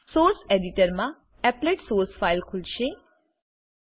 source એડિટરમાં applet source file applet source file ખુલશે